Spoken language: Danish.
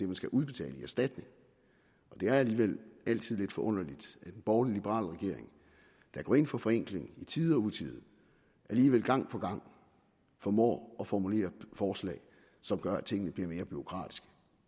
man skal udbetale i erstatning og det er alligevel altid lidt forunderligt at en borgerlig liberal regering der går ind for forenkling i tide og utide alligevel gang på gang formår at formulere forslag som gør at tingene bliver mere bureaukratiske